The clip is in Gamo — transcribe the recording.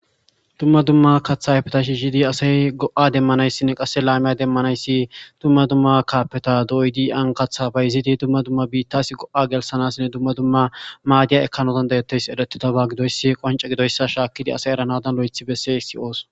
Dumma dumma kathayfeta shi zidi asay go7a demmanayssinne qasse laamiya demmanayssi dumma dumma kaapeta doydi ankatha bayzidi dumma dumma biittas go7a gelsanasinne dumma dumma maadiya ekkanotan degeteys erettita ba gidoyssi qonce gidoyssa shaakkidi asay eranadan lo7ethi besse siyoos